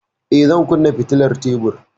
Eh, zan kunna fitilar tebur.